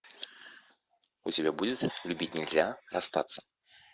у тебя будет любить нельзя расстаться